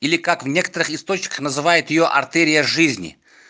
или как в некоторых источниках называет её артерия жизни